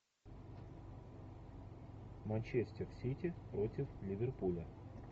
манчестер сити против ливерпуля